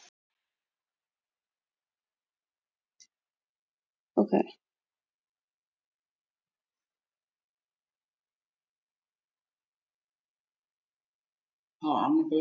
Hví nú?